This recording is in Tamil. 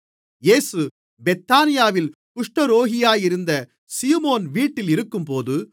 இயேசு பெத்தானியாவில் குஷ்டரோகியாக இருந்த சீமோன் வீட்டில் இருக்கும்போது